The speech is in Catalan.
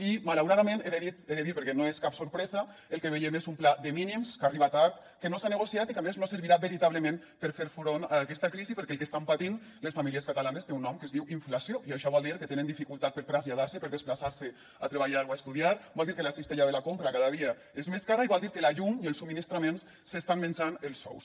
i malauradament he de dir perquè no és cap sorpresa el que veiem és un pla de mínims que arriba tard que no s’ha negociat i que a més no servirà veritablement per a fer front a aquesta crisi perquè el que estan patint les famílies catalanes té un nom que es diu inflació i això vol dir que tenen dificultat per traslladar se per desplaçar se a treballar o a estudiar vol dir que la cistella de la compra cada dia és més cara i vol dir que la llum i els subministraments s’estan menjant els sous